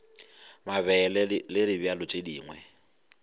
mabele le dibjalo tše dingwe